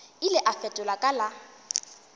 ile a fetola ka la